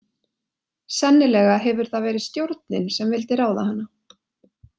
Sennilega hefur það verið stjórnin sem vildi ráða hana.